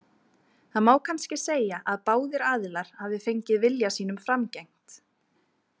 Þannig má kannski segja að báðir aðilar hafi fengið vilja sínum framgengt.